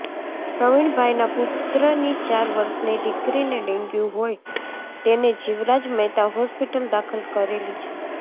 પ્રવિણભાઇના પુત્રની ચાર વર્ષની દિકરીને ડેન્ગ્યુ હોય તેને જીવરાજ મહેતા હોસ્પિટલ દાખલ કરેલી છે